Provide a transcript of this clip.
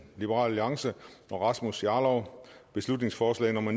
og rasmus jarlov beslutningsforslag nummer